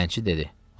Dilənçi dedi.